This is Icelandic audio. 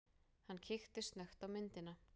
Hann kíkti snöggt á myndina.